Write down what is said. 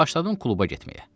Başladım kluba getməyə.